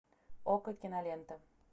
окко кинолента